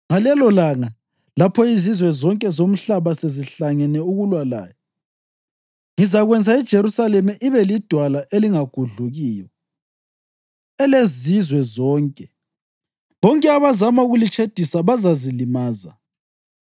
Ngalelolanga, lapho izizwe zonke zomhlaba sezihlangene ukulwa laye, ngizakwenza iJerusalema ibe lidwala elingagudlukiyo elezizwe zonke. Bonke abazama ukulitshedisa bazazilimaza.